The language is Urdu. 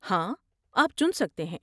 ہاں، آپ چن سکتے ہیں۔